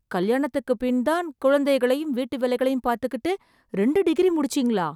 கல்யாணத்துக்குப் பின்தான் குழந்தைகளையும், வீட்டுவேலைகளையும் பார்த்துகிட்டு, ரெண்டு டிகிரி முடிச்சீங்களா...